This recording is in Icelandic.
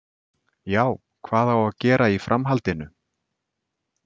Já, hvað á að gera í framhaldinu?